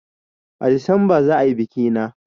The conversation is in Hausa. A Disamba za a yi biki na